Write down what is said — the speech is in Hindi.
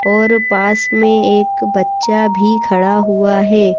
और पास में एक बच्चा भी खड़ा हुआ है।